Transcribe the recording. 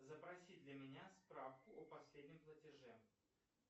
запроси для меня справку о последнем платеже